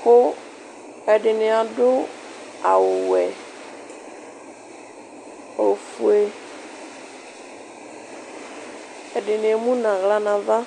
kʋ ɛdɩnɩ adu awuwɛ, ofue Ɛdɩnɩ emu nʋ aɣla nʋ ava